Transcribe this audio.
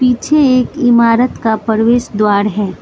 पीछे एक इमारत का प्रवेश द्वार है।